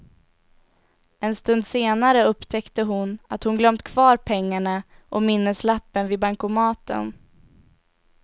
En stund senare upptäckte hon att hon glömt kvar pengarna och minneslappen vid bankomaten.